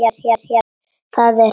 Það er hefð!